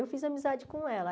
Eu fiz amizade com ela.